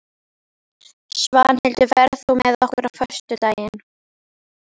Svanhildur, ferð þú með okkur á föstudaginn?